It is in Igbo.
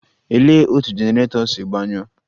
Olee otú generator si gbanyụọ?.